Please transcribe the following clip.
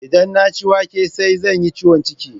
Idan na ci wake sai zan yi ciwon ciki